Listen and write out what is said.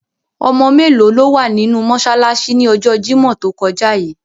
Omo melo lo wa ninu mosalasi ni ojo Jimọ to koja yii?